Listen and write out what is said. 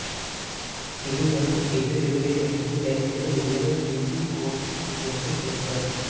இருவர் எதிர் எதிரே நின்று கைகளை உயரத் தூக்கிக் கோர்த்துக் கொண்டு நிற்பர்